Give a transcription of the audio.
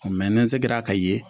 ni n ser'a ka ye